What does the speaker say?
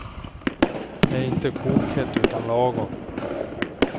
Det är inte kokhett utan lagom.